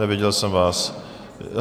Neviděl jsem vás.